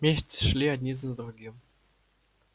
месяцы шли один за другим